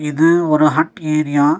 இது ஒரு hut area .